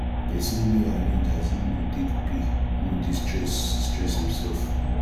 pesin wey arrange as im go take pay no dey stress stress imself